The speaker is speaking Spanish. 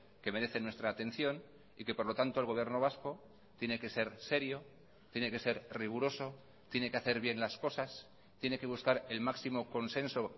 que merecen nuestra atención y que por lo tanto el gobierno vasco tiene que ser serio tiene que ser riguroso tiene que hacer bien las cosas tiene que buscar el máximo consenso